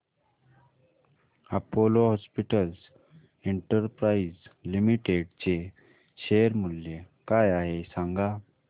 Apollo hospitals enterprise limited चे share मूल्य काय आहे सांगा